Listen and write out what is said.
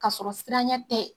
Ka sɔrɔ siranya tɛ